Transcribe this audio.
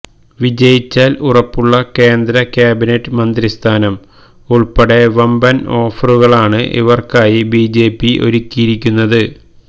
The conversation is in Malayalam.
വിജയിച്ചാല് ഉറപ്പുള്ള കേന്ദ്ര ക്യാബിനറ്റ് മന്ത്രിസ്ഥാനം ഉള്പ്പെടെ വമ്പന് ഓഫറുകളാണ് ഇവര്ക്കായി ബി ജെ പി ഒരുക്കിയിരിക്കുന്നത്